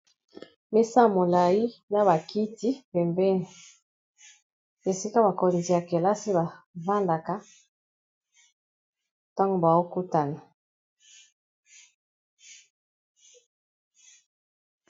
Misaa molai na bakiti pembene esika bakonzi ya kelasi bavandaka ntango baokutana.